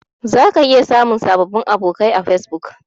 Zaka iya samun sababbin abokai a Fesbuk.